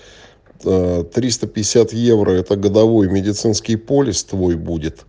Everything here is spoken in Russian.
тристо пятьдесят евро это годовой медицинский полис твой будет